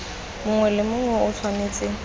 mongwe le mongwe o tshwanetse